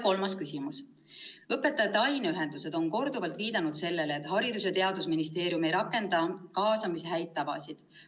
Kolmas küsimus: "Õpetajate aineühendused on korduvalt viidanud sellele, et Haridus- ja Teadusministeerium ei rakenda kaasamise häid tavasid.